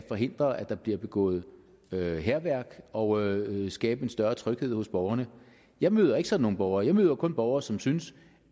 forhindre at der bliver begået hærværk og for skabe en større tryghed hos borgerne jeg møder ikke sådan nogle borgere jeg møder kun borgere som synes